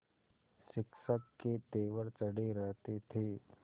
शिक्षक के तेवर चढ़े रहते थे